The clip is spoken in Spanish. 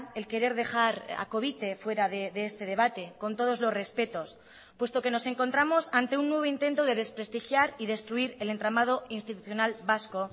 el querer dejar a covite fuera de este debate con todos los respetos puesto que nos encontramos ante un nuevo intento de desprestigiar y destruir el entramado institucional vasco